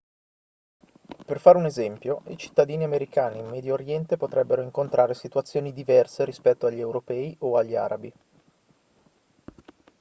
per fare un esempio i cittadini americani in medio oriente potrebbero incontrare situazioni diverse rispetto agli europei o agli arabi